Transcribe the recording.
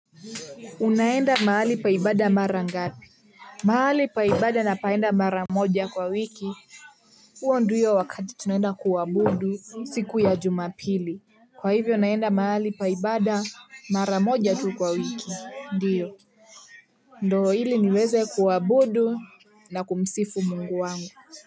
Unaenda mahali pa ibada mara ngapi? Mahali pa ibada napaenda mara moja kwa wiki. huo ndiyo wakati tunaenda kuabudu siku ya jumapili. Kwa hivyo naenda mahali pa ibada mara moja tu kwa wiki. Ndiyo. Ndo ili niweze kuabudu na kumsifu Mungu wangu.